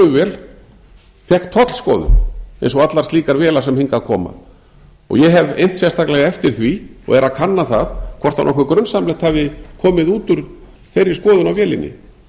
flugvél fékk tollskoðun eins og allar slíkar vélar sem hingað koma ég hef innt sérstaklega eftir því og er að kanna hvort nokkuð grunsamlegt hafi komið út úr þeirri skoðun á vélinni